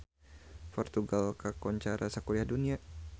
Portugal kakoncara sakuliah dunya